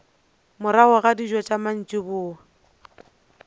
morago ga dijo tša mantšiboa